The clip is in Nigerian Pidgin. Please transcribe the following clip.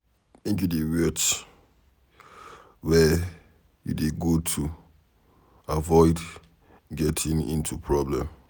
Make you dey watch wehre you dey go to avoid getting into problem.